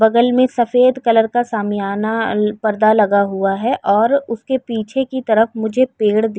बगल में सफ़ेद कलर का सामियाना अ पर्दा लगा हुआ है और उसके पीछे की तरफ मुझे पेड़ दिख --